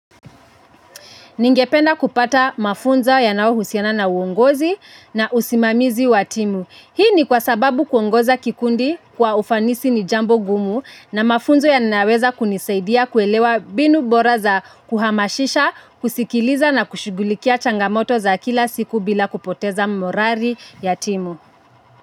Ningependa kupata mafunzo yanayohusiana na uongozi na usimamizi wa timu. Hii ni kwa sababu kuongoza kikundi kwa ufanisi ni jambo gumu na mafunzo yanaweza kunisaidia kuelewa binu bora za kuhamashisha, kusikiliza na kushughulikia changamoto za kila siku bila kupoteza morari ya timu.